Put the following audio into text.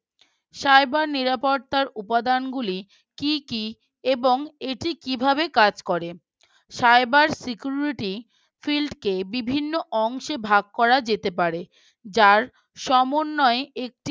cyber নিরাপত্তার উপাদান গুলি কি কি এবং এটি কিভাবে কাজ করে? Cyber Security field কে বিভিন্ন অংশে ভাগ করা যেতে পারে যার সমন্বয়ে একটি